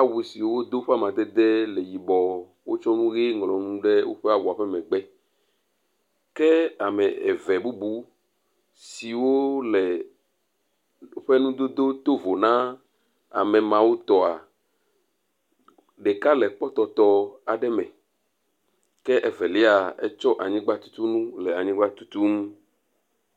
awu si wodo ƒe amadede le yibɔ. Wotsɔ nu ʋi ŋlɔ nu ɖe woƒea awua ƒe megbe. Ke ame eve bubu siwo le woƒe nudodo to vovo na amemawo tɔa, ɖeka le kpɔtɔtɔ aɖe me ke Evelia etsɔ anyigba tutunu le anyigba tutum.